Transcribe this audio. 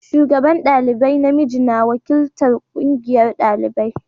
shugaban dalibai na miji yana wakiltar ƙungiyar ɗalibai.